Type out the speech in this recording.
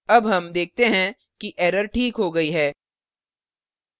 अब हम देखते हैं कि error ठीक हो गई है